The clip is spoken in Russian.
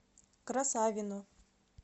красавино